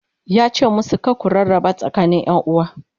yace musu "kar ku rarraba tsakanin ƴanuwa!"